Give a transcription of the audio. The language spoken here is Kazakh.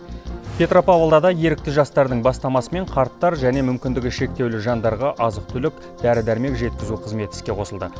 петропавлда да ерікті жастардың бастамасымен қарттар және мүмкіндігі шектеулі жандарға азық түлік дәрі дәрмек жеткізу қызметі іске қосылды